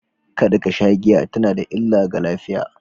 Kada ka sha giya tana da illa ga lafiya.